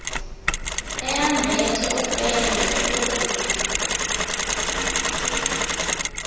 eyambethe ufele lwegusha